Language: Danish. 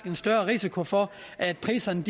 en større risiko for at priserne